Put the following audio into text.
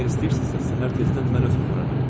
Əgər istəyirsinizsə səhər tezdən mən özüm apararam.